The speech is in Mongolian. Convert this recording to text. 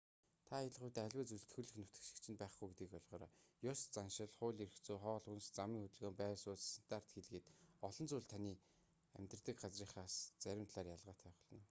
та аялах үедээ аливаа зүйлс төрөлх нутаг шиг чинь байхгүй гэдгийг ойлгоорой ёс заншил хууль эрх зүй хоол хүнс замын хөдөлгөөн байр сууц стандарт хэл гээд олон зүйл таны амьдардаг газрынхаас зарим талаараа ялгаатай байх болно